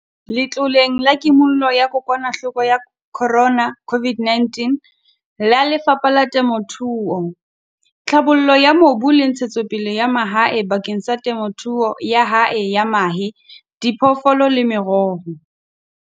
Letloleng la Kimollo ya kokwanahloko ya Corona, COVID-19, la Lefapha la Temothuo, Tlhabollo ya Mobu le Ntshe-tsopele ya Mahae bakeng sa temothuo ya hae ya mahe, diphoofolo le meroho.